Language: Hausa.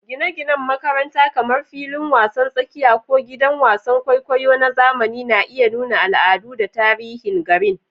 Gine-ginen makaranta, kamar filin wasan tsakiya ko gidan wasan kwaikwayo na zamani, na iya nuna al'adu da tarihin garin.